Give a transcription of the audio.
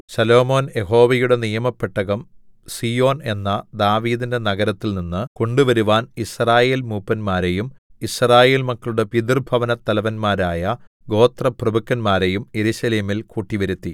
ശലോമോൻ യഹോവയുടെ നിയമപെട്ടകം സീയോൻ എന്ന ദാവീദിന്റെ നഗരത്തിൽനിന്ന് കൊണ്ടുവരുവാൻ യിസ്രായേൽ മൂപ്പന്മാരെയും യിസ്രായേൽ മക്കളുടെ പിതൃഭവനത്തലവന്മാരായ ഗോത്രപ്രഭുക്കന്മാരെയും യെരൂശലേമിൽ കൂട്ടിവരുത്തി